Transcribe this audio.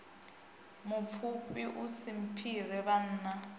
mupfufhi u si mphire vhanna